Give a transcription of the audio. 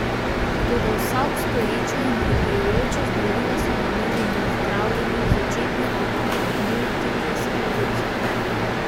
Toda vsa obstoječa in prihajajoča zdravila so namenjena zdravljenju začetnih oblik multiple skleroze.